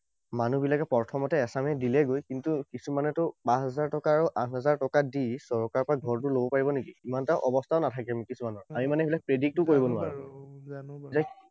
মানু্হবিলাকে প্ৰথমতে এচামে দিলেগৈ। কিন্তু কিছুমানেতো পাঁচ হাজাৰ টকা আৰু আঠ হাজাৰ টকা দি চৰকাৰৰ পৰা ঘৰটো লব পাৰিব নেকি? ইমান এটা অৱস্থাও নাথাকে কিছুমানৰ। আমি মানে সেইবিলাক predict ও কৰিব নোৱাৰো।